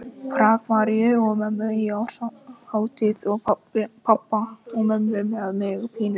Prag, Maríu og mömmu á árshátíð og pabba og mömmu með mig pínulitla.